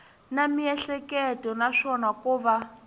na miehleketo naswona ko va